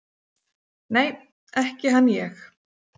"""Nei, ekki hann ég."""